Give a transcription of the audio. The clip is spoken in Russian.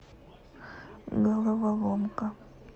головоломка